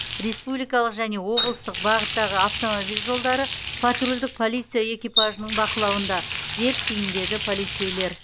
республикалық және облыстық бағыттағы автомобиль жолдары патрульдік полиция экипажының бақылауында деп түйіндеді полицейлер